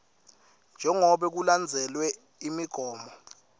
jengobe kulandzelwe imigomo